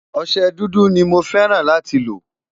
ọsẹ dúdú ní mọ fẹràn láti lo